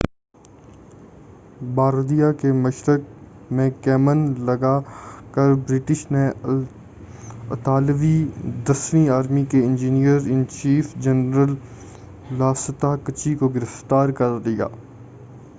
Bardia کے مشرق میں کمین لگا کر برٹش نے اطالوی دسویں آرمی کے engineer in chief general Lastrucci کو گرفتار کر لیا